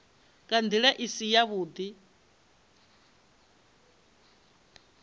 nga nḓila i si yavhuḓi